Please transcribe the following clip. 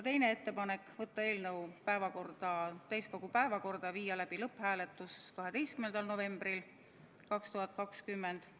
Teine ettepanek: võtta eelnõu täiskogu päevakorda ja viia läbi lõpphääletus 12. novembril 2020.